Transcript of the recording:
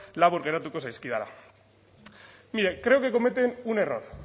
labur geratuko zaizkidala mire creo que cometen un error